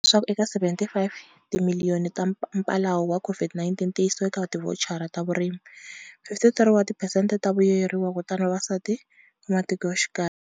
Leswaku eka R75 timiliyoni ta mphalalo wa COVID-19 ti yisiwa eka tivhochara ta vurimi, 53 wa tiphesente wa vavuyeriwa kutava vavasati va matikoxikaya.